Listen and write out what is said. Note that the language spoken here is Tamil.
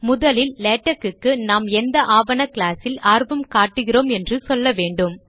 முதலில் லேடக் க்கு நாம் எந்த ஆவண கிளாஸ் இல் ஆர்வம் காட்டுகிறோம் என்று சொல்ல வேண்டும்